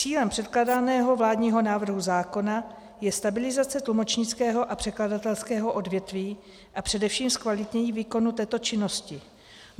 Cílem předkládaného vládního návrhu zákona je stabilizace tlumočnického a překladatelského odvětví a především zkvalitnění výkonu této činnosti.